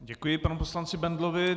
Děkuji panu poslanci Bendlovi.